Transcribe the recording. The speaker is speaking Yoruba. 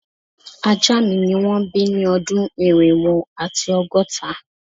Aja mi ni won bi ni odun irinwo ati ọgọta